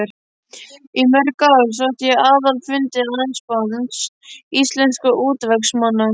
Í mörg ár sótti ég aðalfundi Landssambands íslenskra útvegsmanna.